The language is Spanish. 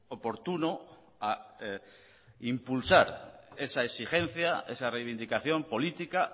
oportuno a impulsar esa exigencia esa reivindicación política